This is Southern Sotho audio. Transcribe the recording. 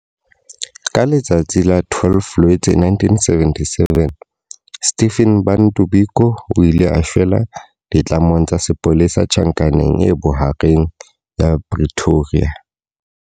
Ka letsatsi la 12 Loetse 1977, Stephen Bantu Biko o ile a shwela ditlamong tsa sepolesa Tjhankaneng e Bohareng ya Pretoria.